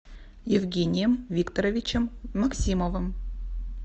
евгением викторовичем максимовым